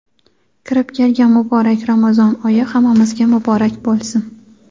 Kirib kelgan muborak Ramazon oyi hammamizga muborak boʼlsin!.